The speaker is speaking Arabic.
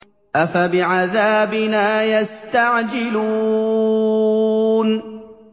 أَفَبِعَذَابِنَا يَسْتَعْجِلُونَ